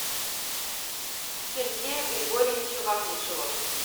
сергея григорьевича вахрушева